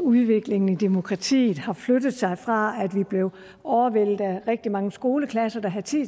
udviklingen i demokratiet har flyttet sig fra at vi blev overvældet af rigtig mange skoleklasser der havde tid